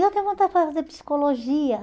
Eu tenho vontade de fazer psicologia.